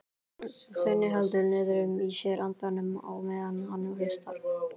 Svenni heldur niðri í sér andanum á meðan hann hlustar.